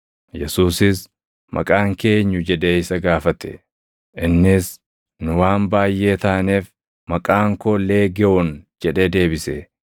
Yesuusis, “Maqaan kee eenyu?” jedhee isa gaafate. Innis, “Nu waan baayʼee taaneef, maqaan koo Leegewoon + 5:9 Leegewooniin Roomaa tokkichi loltoota 6,000 qabata.” jedhee deebise.